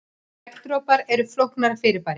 Regndropar eru flóknara fyrirbæri.